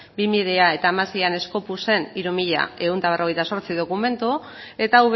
eta hiru mila ehun eta berrogeita zortzi dokumentu eta